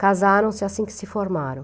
Casaram-se assim que se formaram.